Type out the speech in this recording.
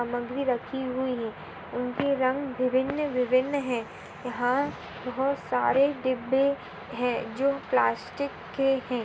सामग्री राखी हुई है उनके रंग विभिन्न-विभिन्न है यहाँ बहुत सारे डिब्बे है जो प्लास्टिक के है।